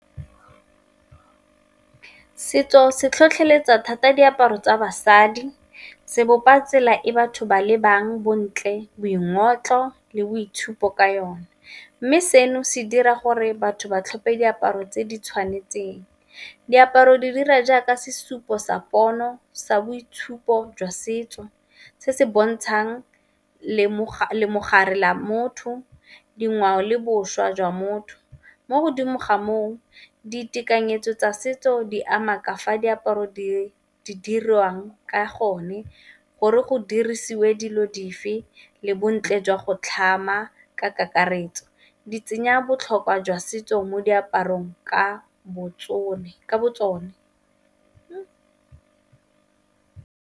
Setso se tlhotlheletsa thata diaparo tsa basadi se bopa tsela e batho ba lebang bontle, boingotlo, le boitshupo ka yone. Mme seno se dira gore batho ba tlhophe diaparo tse di tshwanetseng, diaparo di dira jaaka sesupo sa pono, sa boitshupo jwa setso, se se bontshang le mogare la motho, dingwao le boswa jwa motho. Mo godimo ga moo ditekanyetso tsa setso di ama ka fa diaparo di dirwang, ka gonne gore go dirisiwe dilo dife le bontle jwa go tlhama ka kakaretso di tsenya botlhokwa jwa setso mo diaparong ka bo tsone.